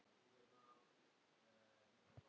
Og gott betur.